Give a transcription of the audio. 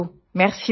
see you soon